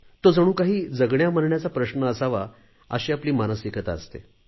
तो जणू काही जगण्यामरण्याचा प्रश्न असावा अशी आपली मानसिकता असते